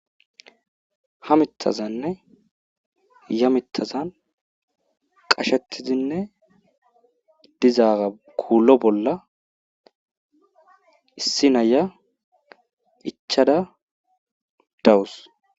Ha mitazanne ya mitazan qashetidinne diza kulo bolla issi na'iya ichada dawusi.